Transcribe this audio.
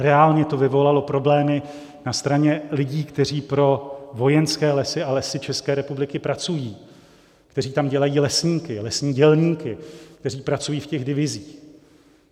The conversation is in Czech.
Reálně to vyvolalo problémy na straně lidí, kteří pro Vojenské lesy a Lesy České republiky pracují, kteří tam dělají lesníky, lesní dělníky, kteří pracují v těch divizích.